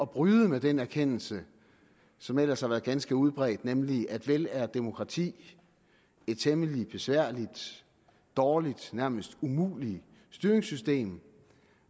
bryde med den erkendelse som ellers havde været ganske udbredt nemlig at vel er demokrati et temmelig besværligt dårligt og nærmest umuligt styringssystem